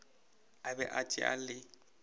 a be a tšea le